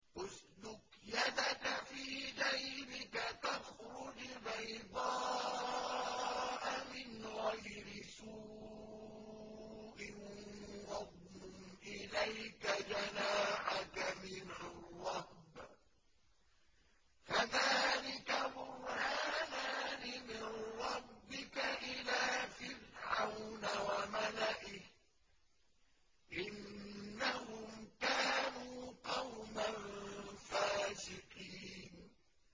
اسْلُكْ يَدَكَ فِي جَيْبِكَ تَخْرُجْ بَيْضَاءَ مِنْ غَيْرِ سُوءٍ وَاضْمُمْ إِلَيْكَ جَنَاحَكَ مِنَ الرَّهْبِ ۖ فَذَانِكَ بُرْهَانَانِ مِن رَّبِّكَ إِلَىٰ فِرْعَوْنَ وَمَلَئِهِ ۚ إِنَّهُمْ كَانُوا قَوْمًا فَاسِقِينَ